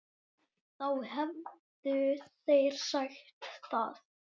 Þá hefðu þeir sagt það.